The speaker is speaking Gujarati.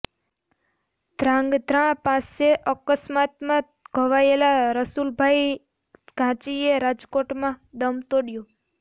ધ્રાંગધ્રા પાસે અકસ્માતમાં ઘવાયેલા રસુલભાઇ ઘાંચીએ રાજકોટમાં દમ તોડયો